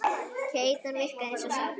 Keytan virkaði eins og sápa.